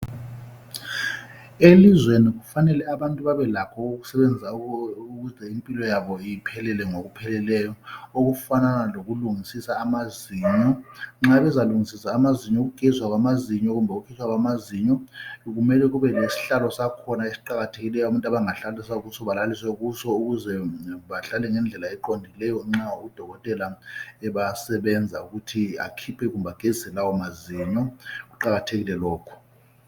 Elizweni kufanele abantu babelakho ukuze impilo yabo iphele ngokupheleleyo okufanana lokulungisisa amazinyo, nxa bezalungisisa amazinyo ukugeziswa kwamazinyo kumbe ukuhlaba amazinyo mele bebe lesihlalo sakhona esiqakathekileyo abantu abangahlaliswa kuso belaliswe kiso ukuze bahlale ngendlela eqondileyo nxa udokotela ebasebenza ukuthi akhiphe kumbe agezise lawo mazinyo kuqakathekile lokho.